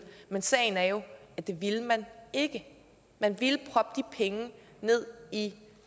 men sagen er jo at det ville man ikke man ville proppe de penge ned i